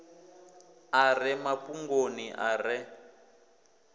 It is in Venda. a re mafhungoni a re